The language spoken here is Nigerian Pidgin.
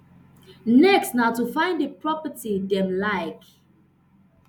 next na to find di property dem like